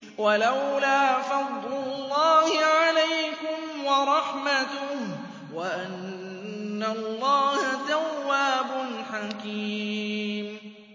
وَلَوْلَا فَضْلُ اللَّهِ عَلَيْكُمْ وَرَحْمَتُهُ وَأَنَّ اللَّهَ تَوَّابٌ حَكِيمٌ